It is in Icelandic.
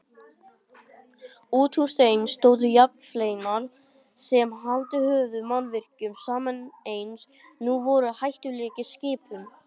Útúr þeim stóðu járnfleinar sem haldið höfðu mannvirkjunum saman en voru nú hættulegir skipum.